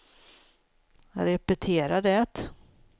repetera det